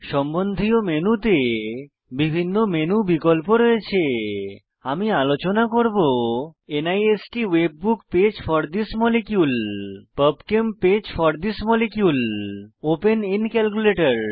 সম্বন্ধীয় মেনুতে বিভিন্ন মেনু বিকল্প রয়েছে আমি আলোচনা করব NIST webbook page for this molecule PubChem page for this molecule open in calculator